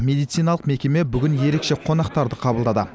медициналық мекеме бүгін ерекше қонақтарды қабылдады